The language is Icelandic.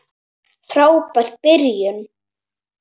Frábær byrjun.